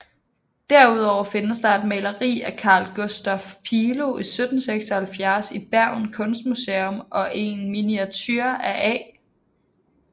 Derudover findes der et maleri af Carl Gustaf Pilo 1776 i Bergen Kunstmuseum og en miniature af A